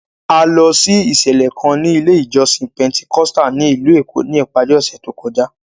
A lọ sí ìṣẹ̀lẹ̀ kan ní ilé ìjọsìn Pentecostal ní ìlú Èkó ní ìparí ọ̀sẹ̀ tó kọjá.